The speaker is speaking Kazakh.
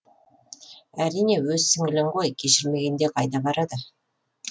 әрине өз сіңілің ғой кешірмегенде қайда барады